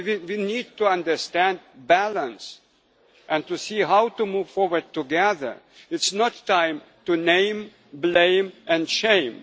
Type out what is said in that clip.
We need to understand balance and to see how to move forward together. This is not the time to name, blame and shame.